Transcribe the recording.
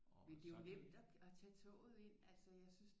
Men det er jo nemt at tage toget ind altså jeg synes